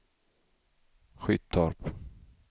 Skyttorp